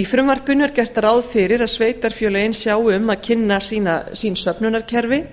í frumvarpinu er gert ráð fyrir að sveitarfélögin sjái um að kynna sín söfnunarkerfi